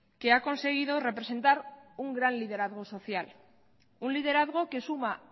que ha conseguido representar un gran liderazgo social un liderazgo que suma